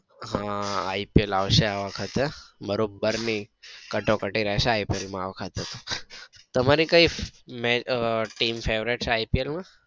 હા ipl આવશે આ વખતે બરોબર ની કટોકટી રેસે ipl માં આ વખતે તો તમારી કઈ અમ team favourite છે ipl માં?